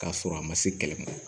K'a sɔrɔ a ma se kɛlɛ ma